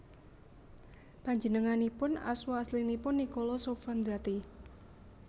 Panjenenganipun asma aslinipun Niccolò Sfondrati